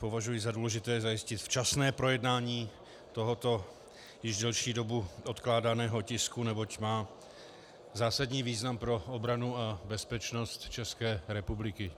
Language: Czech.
Považuji za důležité zajistit včasné projednání tohoto již delší dobu odkládaného tisku, neboť má zásadní význam pro obranu a bezpečnost České republiky.